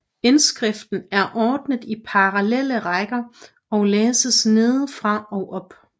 Indskriften er ordnet i parallelle rækker og læses nedefra og op